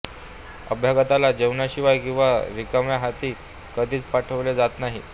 अभ्यागताला जेवणाशिवाय किंवा रिकाम्या हाती कधीच पाठविले जात नाही